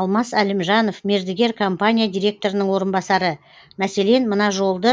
алмас әлімжанов мердігер компания директорының орынбасары мәселен мына жолды